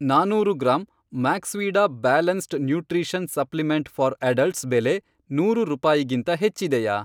ನಾನೂರು ಗ್ರಾಂ ಮ್ಯಾಕ್ಸ್ವೀಡಾ balanced nutrition supplement for adults ಬೆಲೆ ನೂರು ರೂಪಾಯಿಗಿಂತ ಹೆಚ್ಚಿದೆಯಾ?